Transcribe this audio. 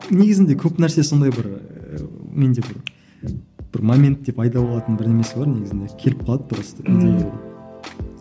негізінде көп нәрсе сондай бір менде бір бір моментте пайда болатын бірдемесі бар негізінде келіп қалады просто